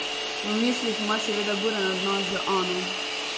V mislih ima seveda buren odnos z Ano.